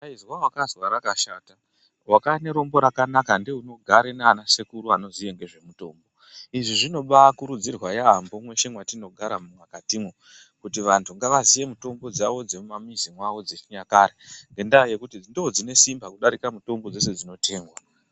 Izwa wakazwa rakashata wakave nerombo rakanaka ndeunogara naana sekuru anoziye zvemutombo. Izvi zvinobaakuridzirwa yaambo mweshe mwatinogara mukatimwo, kuti vantu ngavazive mutombo dzavo dzemumamizi mwavo dzechinyakare. Ngendaa yekuti ndoodzinesimba kudarika mutombo dzese dzinotengwa.